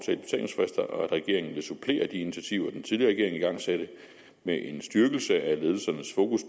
at regeringen vil supplere de initiativer den tidligere regering igangsatte med en styrkelse af ledelsernes fokus